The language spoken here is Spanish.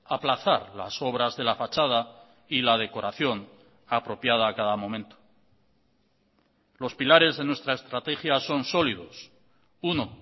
aplazar las obras de la fachada y la decoración apropiada a cada momento los pilares de nuestra estrategia son sólidos uno